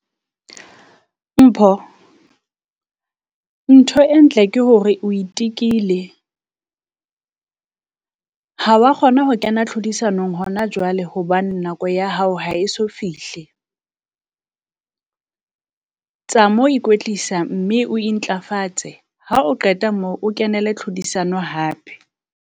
Mpho ntho e ntle ke hore o itekile, ha wa kgona ho kena tlhodisanong hona jwale hobane nako ya hao ha e so fihle. tsa mo ikwetlisa mme o intlafatse, Ha o qeta moo o kenele tlhodisano hape.